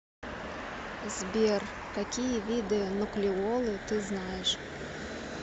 сбер какие виды нуклеолы ты знаешь